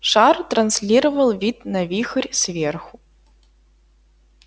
шар транслировал вид на вихрь сверху